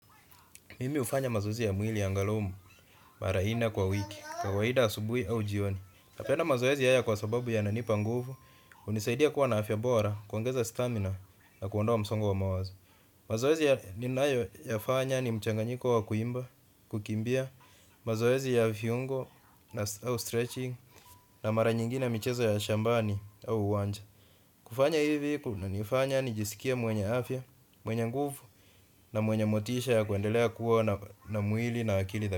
Mimi hufanya mazoezi ya mwili angalau, mara nne kwa wiki, kawaida asubuhi au jioni. Napenda mazoezi haya kwa sababu yananipa nguvu, hunisaidia kuwa na afya bora, kuongeza stamina, na kuondoa msongo wa mawazo. Mazoezi ya ninayo ya fanya ni mchanganyiko wa kuimba, kukimbia, mazoezi ya viungo, au stretching, na mara nyingine michezo ya shambani, au uwanja. Kufanya hivi kuna nifanya nijisikie mwenye afya, mwenye nguvu na mwenye motisha ya kuendelea kuwa na mwili na akili.